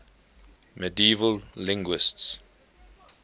medieval linguists